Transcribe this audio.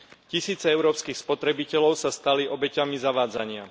Tisíce európskych spotrebiteľov sa stali obeťami zavádzania.